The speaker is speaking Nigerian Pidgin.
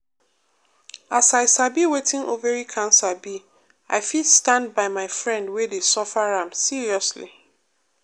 as i sabi wetin ovary cancer be i fit stand by my friend wey dey suffer am seriously.